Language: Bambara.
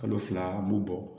Kalo fila an b'u bɔ